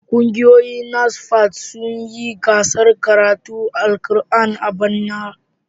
Kungiyoyin NASFAT sun yi gasar karatun Alkur'ani a bana.